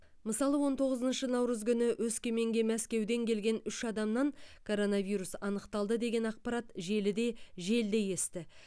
мысалы он тоғызыншы наурыз күні өскеменге мәскеуден келген үш адамнан коронавирус анықталды деген ақпарат желіде желдей есті